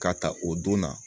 K'a ta o don na